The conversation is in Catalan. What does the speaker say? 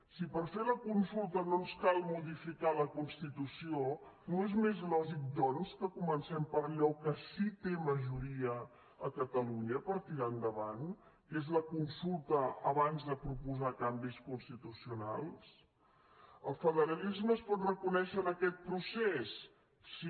si per fer la consulta no ens cal modificar la constitució no és més lògic doncs que comencem per allò que sí que té majoria a catalunya per tirar endavant que és la consulta abans de proposar canvis constitucionals el federalisme es pot reconèixer en aquest procés sí